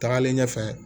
Tagalen ɲɛfɛ